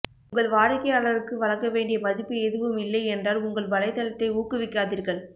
உங்கள் வாடிக்கையாளர்களுக்கு வழங்க வேண்டிய மதிப்பு எதுவும் இல்லை என்றால் உங்கள் வலைத்தளத்தை ஊக்குவிக்காதீர்கள்